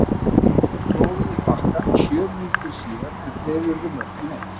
Gestirnir klóruðu í bakkann sjö mínútum síðar en fleiri urðu mörkin ekki.